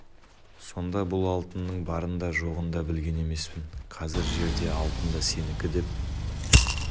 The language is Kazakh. сонда бұл алтынның барын да жоғын да білген емеспін қазір жер де алтын да сенікі деп